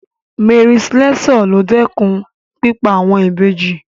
Mary Slessor ló dẹ́kun pípa àwọn Ìbejì.